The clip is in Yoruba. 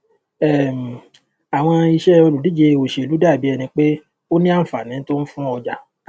um àwọn iṣẹ òlùdíje òṣèlú dàbí ẹni pé ó ní àǹfààní tó ń fún ọjà